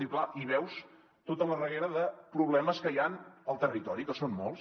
i clar veus tota la reguera de problemes que hi han al territori que són molts